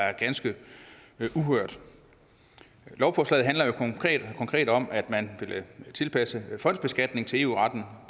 er ganske uhørt lovforslaget handler konkret om at man vil tilpasse fondsbeskatningen til eu retten